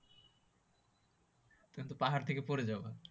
কিন্তু পাহাড় থেকে পরে যাবা